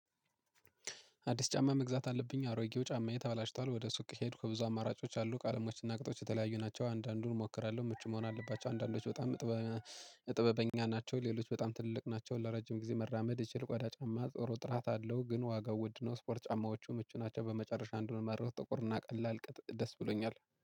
አዲስ ጫማ መግዛት አለብኝ አሮጌው ጫማዬ ተበላሽቷል። ወደ ሱቅ ሄድኩ ብዙ አማራጮች አሉ ቃለሞችና ቁጥሮች የተለያዩ ናቸው። አንዳንዱን እሞክራለሁ ምቹ መሆን አለባቸው አንዳንዶች በጣም ጥበበኛ ናቸው። ሌሎች በጣም ትልቅ ናቸው። ለረጅም ጊዜ መራመድ እችል። ቆዳ ጫማ ጥሩ ጥራት አለው ግን ዋጋው ውድ ነው። ስፖርት ጫማዎቹ ምቹ ናቸው። በመጨረሻ አንዱን መርኩ ጥቁር እና ቀላል ቅጥ ደስ ብሎኛል